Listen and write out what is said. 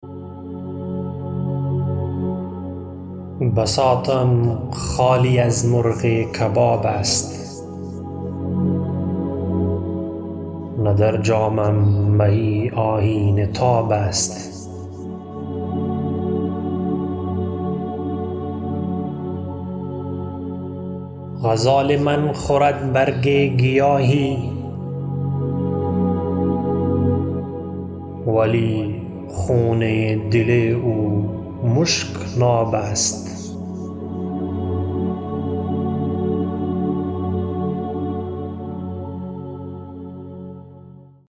بساطم خالی از مرغ کباب است نه در جامم می آیینه تاب است غزال من خورد برگ گیاهی ولی خون دل او مشک ناب است